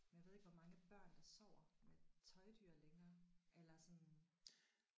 Men jeg ved ikke hvor mange børn der sover med tøjdyr længere eller sådan